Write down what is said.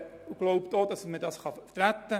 Ich glaube, das kann man vertreten.